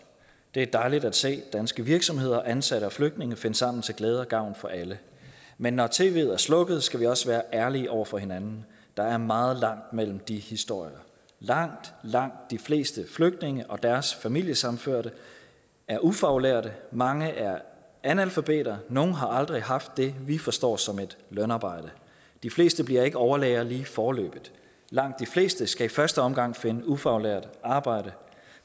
det er dejligt at se danske virksomheder ansatte og flygtninge finde sammen til glæde og gavn for alle men når tvet er slukket skal vi også være ærlige over for hinanden der er meget langt mellem de historier langt langt de fleste flygtninge og deres familiesammenførte er ufaglærte mange er analfabeter og nogle har aldrig haft det vi forstår som et lønarbejde de fleste bliver ikke overlæger lige foreløbig langt de fleste skal i første omgang finde ufaglært arbejde